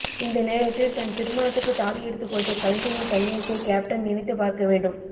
இந்த நேரத்தில் தன் திருமணத்துக்கு தாலி எடுத்து கொடுத்த கலைஞரின் கண்ணியத்தை கேப்டன் நினைத்து பார்க்க வேண்டும்